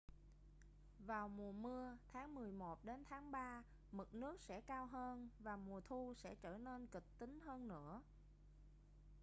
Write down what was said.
vào mùa mưa tháng 11 đến tháng 3 mực nước sẽ cao hơn và mùa thu sẽ trở nên kịch tính hơn nữa